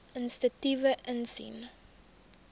inisiatiewe insien